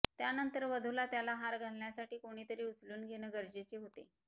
त्यानंतर वधूला त्याला हार घालण्यासाठी कोणीतरी उचलून घेणं गरजेचे होते